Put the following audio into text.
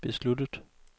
besluttet